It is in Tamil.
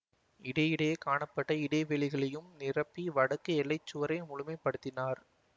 இடையிடையே காணப்பட்ட இடைவெளிகளையும் நிரப்பி வடக்கு எல்லை சுவரை முழுமைப்படுத்தினார்